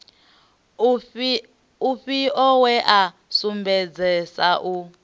ufhio we a sumbedzesa u